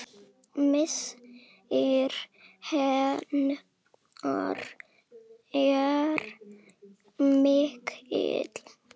Missir hennar er mikill.